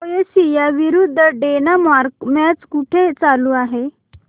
Croatia विरुद्ध Denmark match कुठे चालू आहे